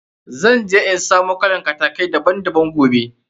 Zan je in samo kalan kataki daban daban.